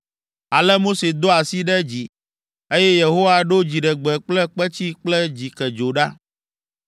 Ale Mose do asi ɖe dzi, eye Yehowa ɖo dziɖegbe kple kpetsi kple dzikedzo ɖa.